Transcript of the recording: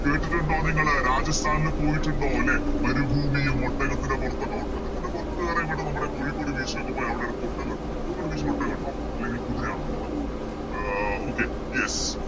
കേട്ടിട്ടുണ്ടോ നിങ്ങള് രാജസ്ഥാനില് പോയിട്ടുണ്ടോ ലെ മരുഭൂമിയും ഒട്ടകത്തിൻറെ പൊറത്തൊക്കെ ഒട്ടകത്തിൻറെ പൊറത്തു കേറാൻ ഇവിടെ നമ്മുടെ കോഴിക്കോട് Beach ലൊക്കെ പോയാൽ അവിടൊക്കെ കോഴിക്കോട് Beach ൽ ഒട്ടകൊണ്ടോ അല്ലെങ്കിൽ കുതിരയാണോ ഉള്ളത് ആഹ് Okay yes